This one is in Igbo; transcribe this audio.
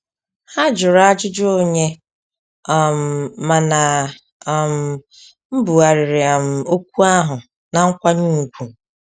Ha jụrụ ajụjụ onye, um mana um mbughariri um okwu ahụ na nkwanye ùgwù